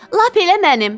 Lap elə mənim.